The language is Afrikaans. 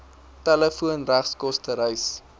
telefoon regskoste reis